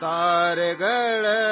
ستاروں کے باغ سے،